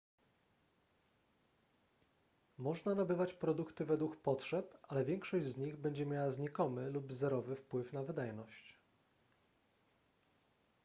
można nabywać produkty według potrzeb ale większość z nich będzie miała znikomy lub zerowy wpływ na wydajność